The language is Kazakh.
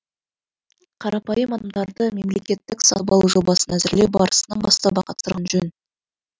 қарапайым адамдарды мемлекеттік сатып алу жобасын әзірлеу барысынан бастап ақ қатыстырған жөн